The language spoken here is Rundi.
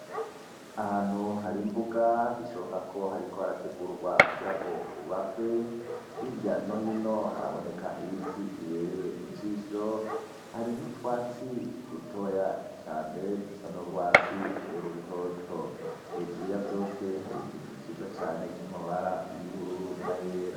Ahantu hari imbuga bishobokako hariko harategurwa kugirango hubakwe hirya nohino haraboneka ibiti bibereye ijisho hari nutwatsi dutoya cane dusa nurwatsi rutoto hejuru yavyose hari igicu ciza cane kirimwo amabara yubururu nayera